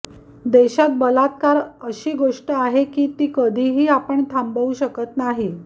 देशात बलात्कार अशी गोष्ट आहे ती कधी ही आपण थांबू शकत नाही